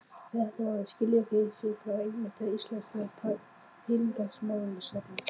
Fréttamaður: Skilja þeir sig frá einmitt íslenskri peningamálastefnu?